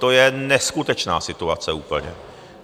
To je neskutečná situace úplně!